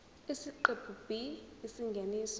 isiqephu b isingeniso